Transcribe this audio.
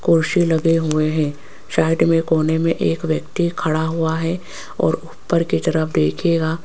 कुर्सी लगे हुए हैं साइड में कोने में एक व्यक्ति खड़ा हुआ है और ऊपर की तरफ देखिएगा।